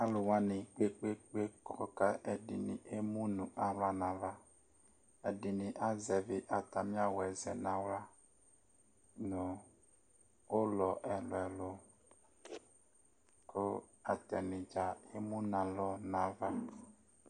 alu wʋani kpekpekpe kɔ ku emu nu nu aɣla nu ava, ɛdini azɛvi ata mi awu zɛ nu aɣla nu ulɔ ɛlu ɛlu, ku ata ni dza emu nu alɔ nu ava